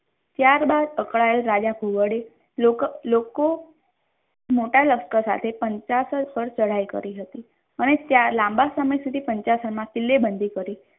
ત્યારબાદ અકળાયેલ રાજા ઘોડે લોકો મોટા લશ્કર સાથે પંચારણ પર ચઢાઈ કરી હતી અને ત્યાં લાંબા સમય સુધી પંચરણમાં કિલ્લો બંધી કરી.